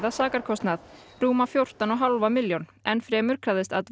sakarkostnað rúma fjórtán og hálfa milljón enn fremur krafðist